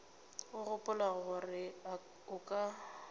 o gopola gore o ka